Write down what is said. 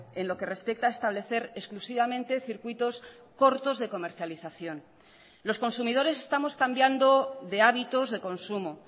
en lo que respecta a establecer exclusivamente circuitos cortos de comercialización los consumidores estamos cambiando de hábitos de consumo